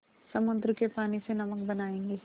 समुद्र के पानी से नमक बनायेंगे